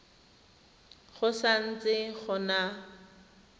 go sa ntse go na